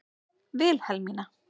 Vilhelmína